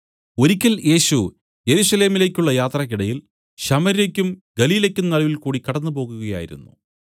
ഒരിയ്ക്കൽ യേശു യെരൂശലേമിലേക്കുള്ള യാത്രയ്ക്കിടയിൽ ശമര്യക്കും ഗലീലയ്ക്കും നടുവിൽകൂടി കടന്നുപോകുകയായിരുന്നു